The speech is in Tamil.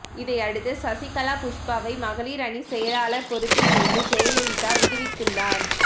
இதையடுத்து சசிகலா புஷ்பாவை மகளிர் அணி செயலாளர் பொறுப்பில் இருந்து ஜெயலலிதா விடுவித்துள்ளார்